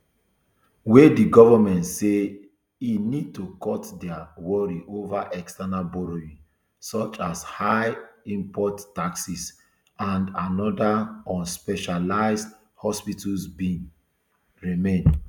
wey di govment say e need to cut dia worry ova external borrowing such as higher import taxes and anoda on specialised hospitals bin remain